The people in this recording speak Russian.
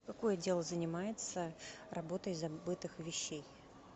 какой отдел занимается работой забытых вещей